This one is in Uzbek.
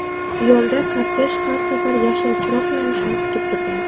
Yo‘lda kortej har safar yashil chiroq yonishini kutib turgan.